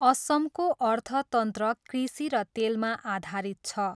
असमको अर्थतन्त्र कृषि र तेलमा आधारित छ।